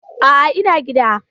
A'a, ina gida.